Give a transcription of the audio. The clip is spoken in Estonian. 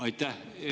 Aitäh!